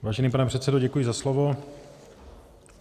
Vážený pane předsedo, děkuji za slovo.